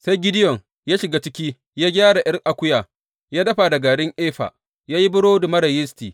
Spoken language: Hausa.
Sai Gideyon ya shiga ciki, ya gyara ’yar akuya ya dafa, da garin efa ya yi burodi marar yisti.